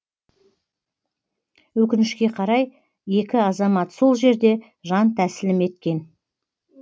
өкінішке қарай екі азамат сол жерде жан тәсілім еткен